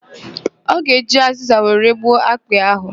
Ọ ga-eji azịza were gbuo akpị ahụ.